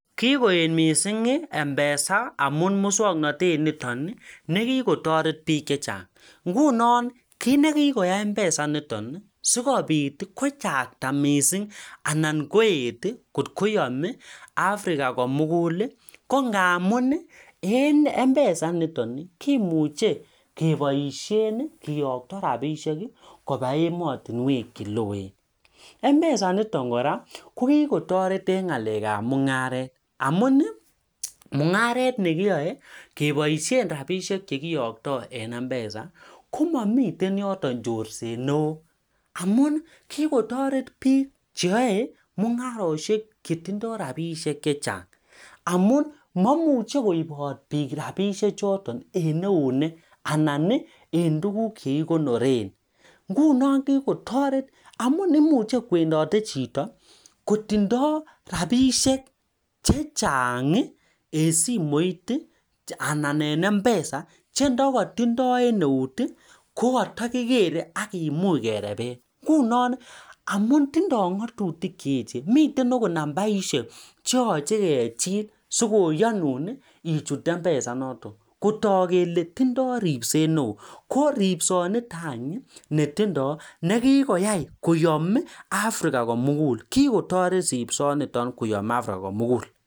Kikoet (mpesa) amuu eng (mpesa) kumuchi kiyokto rabishek kobaa emet ab sang kora kikotoret eng mungaret amamii chorset neoo amuu ooo ripset neoo